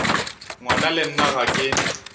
ngwana le nna ga ke